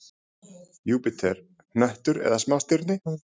Júpíter: hnöttur eða smástirni?